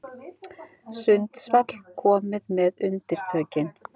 Sundsvall komið með undirtökin